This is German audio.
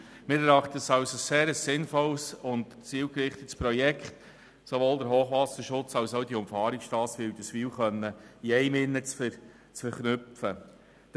Wir erachten es als sehr sinnvoll und zielgerichtet, den Hochwasserschutz und diese Umfahrungsstrasse Wilderswil in einem Projekt verknüpfen zu können.